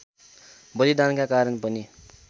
बलिदानका कारण पनि